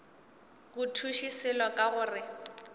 go thuše selo ka gore